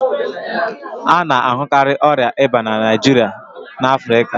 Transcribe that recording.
A na-ahụkarị ọrịa ìbá na Naịjirịa na Afrịka